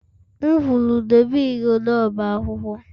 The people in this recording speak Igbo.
M kwuru dobe igodo ọba akwụkwọ!